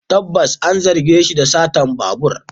Tabbas a, an zarge shi da satar babur.